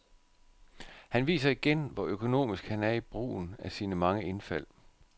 Han viser igen, hvor økonomisk han er i brugen af sine mange indfald.